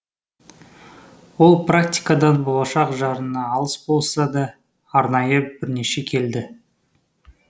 ол практикадан болашақ жарына алыс болса да арнайы бірнеше келді